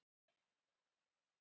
Háð eða lof?